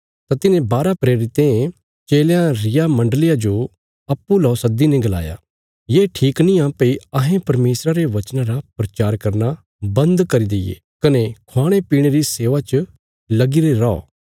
तां तिन्हें बारा प्रेरितें चेलयां रिया मण्डलिया जो अप्पूँ ला सद्दीने गलाया ये ठीक निआं भई अहें परमेशरा रे वचना रा प्रचार करना बन्द करी दईये कने ख्वाणेप्याणे री सेवा च लगीरे रौ